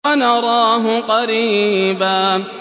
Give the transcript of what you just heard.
وَنَرَاهُ قَرِيبًا